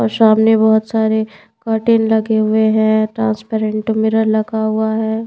और सामने बहुत सारे कर्टन लगे हुए हैं ट्रांसपेरेंट मिरर लगा हुआ है।